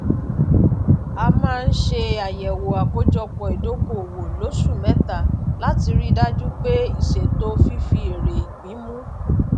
a máa ń ṣe àyẹwò àkójọpọ ìdókòwò lóṣù mẹta láti rí dájú pé ìṣètò fífi èrè ipín mu